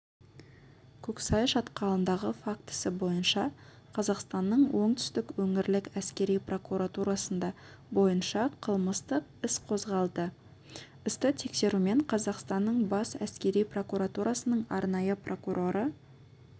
көксай шатқалындағы фактісі бойынша қазақстанның оңтүстік өңірлік әскери прокуратурасында ббойынша қылмыстық іс қозғалды істі тексерумен қазақстанның бас әскери прокуратурасының арнайы прокуроры